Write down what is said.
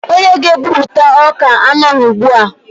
Onye ga-ebupụta ọka anọghị ugbu a.